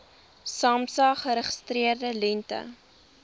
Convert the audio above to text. samsa geregistreerde lengte